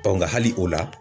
hali o la